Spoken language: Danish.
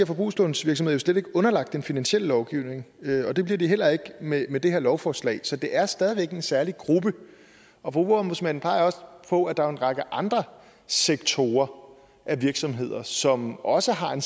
forbrugslånsvirksomheder jo slet ikke underlagt den finansielle lovgivning og det bliver de heller ikke med med det her lovforslag så det er stadig væk en særlig gruppe forbrugerombudsmanden peger også på at der er en række andre sektorer af virksomheder som også har en